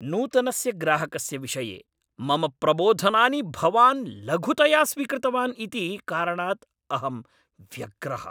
नूतनस्य ग्राहकस्य विषये मम प्रबोधनानि भवान् लघुतया स्वीकृतवान् इति कारणाद् अहं व्यग्रः।